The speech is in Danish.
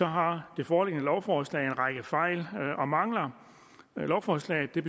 har det foreliggende lovforslag en række fejl og mangler lovforslaget vil